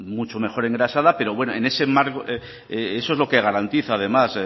mucho mejor engrasada pero eso es lo que garantiza además